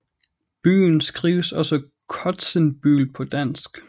Byen skrives også Kotsenbøl på dansk